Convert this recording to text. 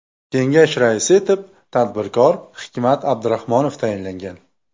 Kengash raisi etib tadbirkor Hikmat Abdurahmonov tayinlangan.